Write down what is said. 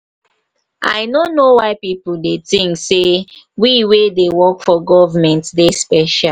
i no know why people dey think say we wey dey work for government dey special.